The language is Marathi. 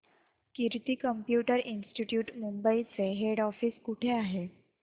कीर्ती कम्प्युटर इंस्टीट्यूट मुंबई चे हेड ऑफिस कुठे आहे